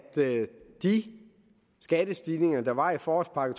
de skattestigninger der var i forårspakke